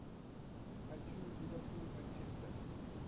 хочу ливерпуль манчестер